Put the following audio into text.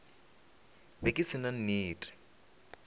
be ke se na nnete